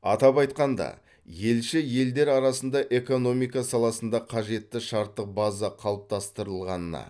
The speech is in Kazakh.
атап айтқанда елші елдер арасында экономика саласында қажетті шарттық база қалыптастырылғанына